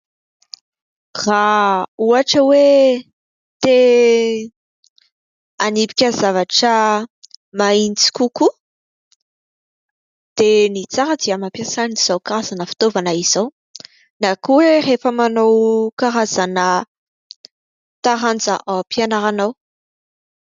Raha ohatra hoe te hanipika zavatra mahitsy kokoa dia ny tsara dia mampiasa an'izao karazana fitaovana izao, na koa rehefa manao karazana taranja ao am-pianarana ao.